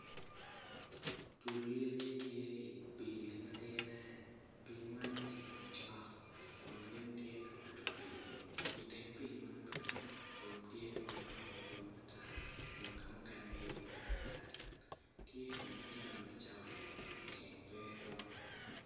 Dul lyeci tye i pii matidine pii man tye ka macok kun gin tye ka mato pii iteng pii man bene lum tye ma odongo madwong ata kun ka mukene tye mutal otal tye dong otyeno icawani kun ceng pe dong.